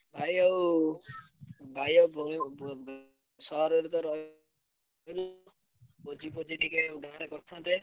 ଭାଇ ଆଉ ଭାଇ ଆଉ ଉଁ ସହରରେ ତ ରହିଲ ଭୋଜି ଫୋଜି ଟିକେ ଗାଁରେ କରିଥାନ୍ତେ।